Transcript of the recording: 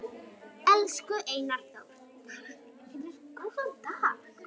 Elsku Einar Þór, takk fyrir góðan dag.